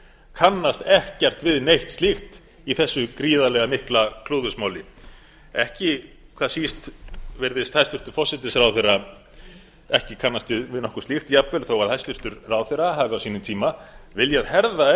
kannast ekkert við neitt slíkt í þessu gríðarlega mikla klúðursmáli ekki hvað síst virðist hæstvirtur forsætisráðherra ekki kannast við neitt slíkt jafnvel þó að hæstvirtur ráðherra hafi á sínum tíma viljað herða enn